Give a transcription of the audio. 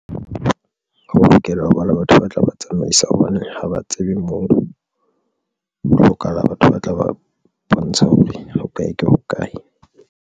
Ho lokela hoba le batho ba tla ba tsamaisa hobane ha ba tsebe moo ho hlokahala batho ba tla ba bontsha hore o kae ke hokae.